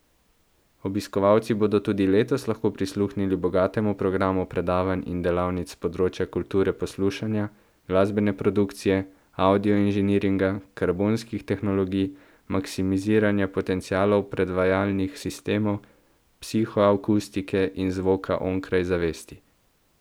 Obiskovalci bodo tudi letos lahko prisluhnili bogatemu programu predavanj in delavnic s področja kulture poslušanja, glasbene produkcije, avdio inženiringa, karbonskih tehnologij, maksimiziranja potencialov predvajalnih sistemov, psihoakustike in zvoka onkraj zavesti.